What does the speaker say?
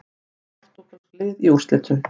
Tvö portúgölsk lið í úrslitum